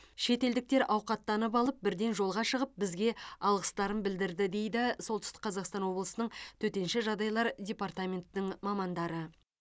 шетелдіктер ауқаттанып алып бірден жолға шығып бізге алғыстарын білдірді дейді солтүстік қазақстан облысының төтенше жағдайлар департаментінің мамандары